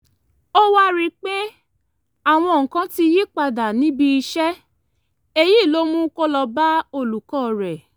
ó wá rí i pé àwọn nǹkan ti yí padà níbi iṣẹ́ èyí ló mú kó lọ bá olùkọ́ rẹ̀